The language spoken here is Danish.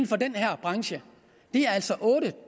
for den her branche det er altså otte